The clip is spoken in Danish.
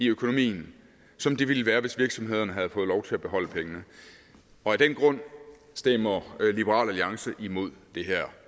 økonomien som det ville være hvis virksomhederne havde fået lov til at beholde pengene og af den grund stemmer liberal alliance imod det her